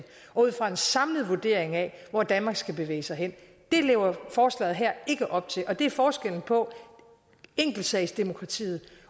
og ud fra en samlet vurdering af hvor danmark skal bevæge sig hen det lever forslaget her ikke op til og det er forskellen på enkeltsagsdemokratiet